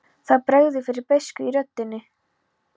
Það bregður fyrir beiskju í röddinni.